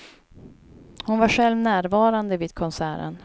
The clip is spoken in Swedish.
Hon var själv närvarande vid konserten.